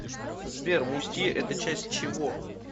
сбер мустье это часть чего